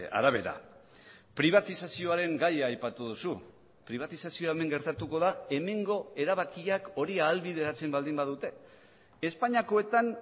arabera pribatizazioaren gaia aipatu duzu pribatizazioa hemen gertatuko da hemengo erabakiak hori ahalbideratzen baldin badute espainiakoetan